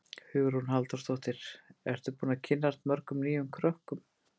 Hugrún Halldórsdóttir: Ertu búinn að kynnast mörgum nýjum krökkum?